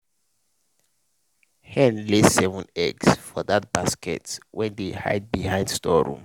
hen lay seven eggs for that basket wey dey hide behind storeroom.